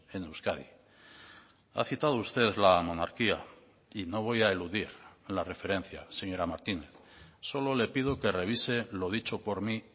en euskadi ha citado usted la monarquía y no voy a eludir la referencia señora martínez solo le pido que revise lo dicho por mí